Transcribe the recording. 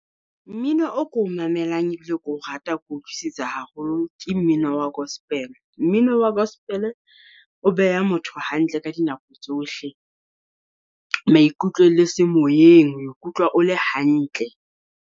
Mmino o ko mamelang ebile keo rata, Ke utlwisisa haholo ke mmino wa Gospel Mmino wa gospel o beha motho hantle ka dinako tsohle, maikutlo le se moyeng, ho ikutlwa o le hantle.